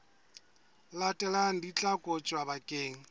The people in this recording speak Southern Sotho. latelang di tla kotjwa bakeng